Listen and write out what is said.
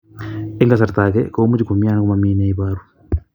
Eng' kasarta ag'e ko much ko mii anan komamii ne ibaru